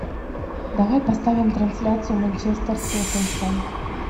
давай поставим трансляцию манчестер тоттенхэм